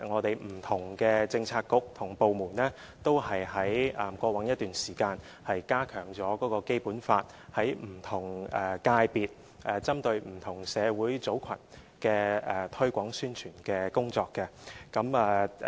不同的政策局和部門在過往一段時間也加強了就《基本法》在不同界別針對不同社會群組的推廣宣傳工作。